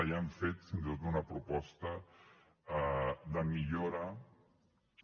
ja han fet fins i tot una proposta de millora de